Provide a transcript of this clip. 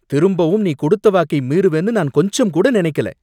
திரும்பவும், நீ கொடுத்த வாக்கை மீறுவேன்னு நான் கொஞ்சம்கூட நினைக்கல